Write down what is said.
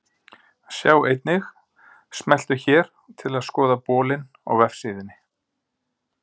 Sjá einnig: Smelltu hér til að skoða bolinn á vefsíðunni.